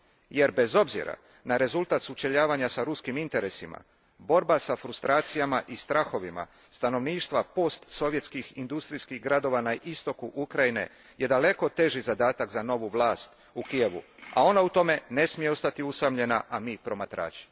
jer bez obzira na rezultat sučeljavanja sa ruskim interesima borba sa frustracijama i strahovima stanovništva postsovjetskih industrijskih gradova na istoku Ukrajine je daleko teži zadatak za novu vlast u Kijevu, a ona u tome ne smije ostati usamljena a mi promatrači.